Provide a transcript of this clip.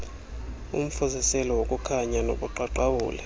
umfuziselo wokukhanya nobuqaqawuli